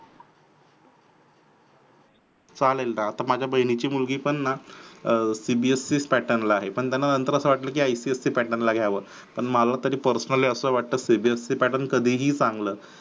चालेल ना आता माझ्या बहिणीचे मुलगी पण ना cbse pattern आहे पण त्यांना नंतर अस वाटलं की ipsc pattern ला घ्यावं पण मला तरी personally वाटतं cbse pattern कधीही चांगलं